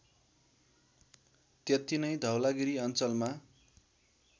त्यतिनै धौलागिरी अञ्चलमा